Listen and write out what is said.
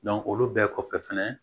olu bɛɛ kɔfɛ fɛnɛ